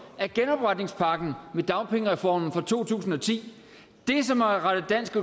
er genopretningspakken med dagpengereformen fra to tusind og ti det som har rettet dansk